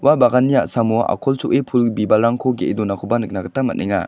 ua baganni a·samo a·kol cho·e pul bibalrangko ge·e donakoba nikna gita man·enga.